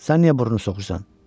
Sən niyə burnu soxursan?